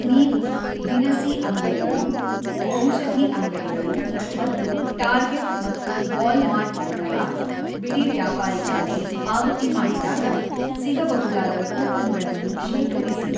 ನೀವು ದಿನಸಿ ಅಂಗಡಿಗಳು, ಔಷಧಿ ಅಂಗಡಿಗಳು ಮತ್ತು ಟಾರ್ಗೆಟ್ ಮತ್ತು ವಾಲ್‌ಮಾರ್ಟ್‌ನಂತಹ ಬಿಡಿವ್ಯಾಪಾರಿಗಳಲ್ಲಿ ಪಾವತಿ ಮಾಡಿದಾಗ ಸಿಗಬಹುದಾದ ಕೂಪನ್‌ಗಳನ್ನು ಶೇಖರಿಸಿ.